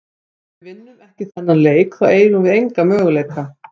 Ef við vinnum ekki þennan leik þá eigum við enga möguleika.